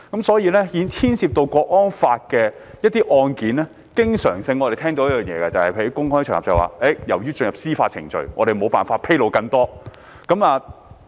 所以，關於涉及《香港國安法》的案件，我們經常會在公開場合聽到："由於案件已進入司法程序，我們沒有辦法披露更多"這句話。